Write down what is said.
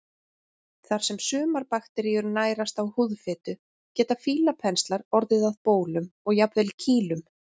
Þar sem sumar bakteríur nærast á húðfitu geta fílapenslar orðið að bólum og jafnvel kýlum.